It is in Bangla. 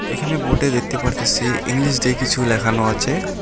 এখানে বোর্ডে দেখতে পারতাসি ইংলিশ দিয়ে কিছু লেখানো আছে।